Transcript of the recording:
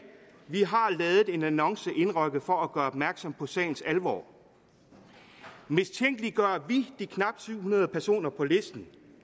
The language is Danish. vi har ladet en annonce indrykke for at gøre opmærksom på sagens alvor mistænkeliggør vi de knap syv hundrede personer på listen